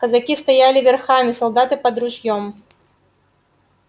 казаки стояли верхами солдаты под ружьём